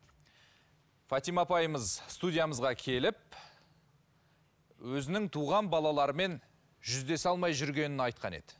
фатима апайымыз студиямызға келіп өзінің туған балаларымен жүздесе алмай жүргенін айтқан еді